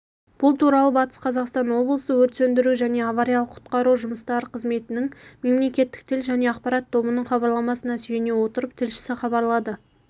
бұл туралыбатыс қазақстан облысы өрт сөндіру және авариялық-құтқару жұмыстары қызметініңмемлекеттік тіл және ақпарат тобының хабарламасына сүйене отырып тілшісі хабарлады